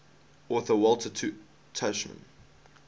author walter tuchman